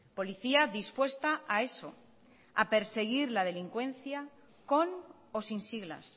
policía dispuesta a eso a perseguir la delincuencia con o sin siglas